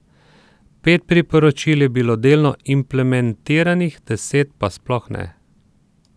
Pet priporočil je bilo delno implementiranih, deset pa sploh ne.